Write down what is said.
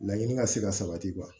Laɲini ka se ka sabati kuwa